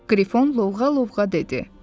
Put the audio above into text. Qrifon lovğa-lovğa dedi: